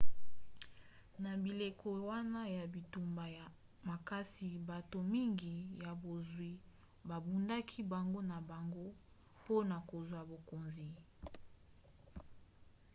na bileko wana ya bitumba makasi bato mingi ya bozwi babundaki bango na bango mpona kozwa bokonzi